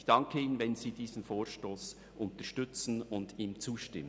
Ich danke Ihnen, wenn Sie diesen Vorstoss unterstützen und ihm zustimmen.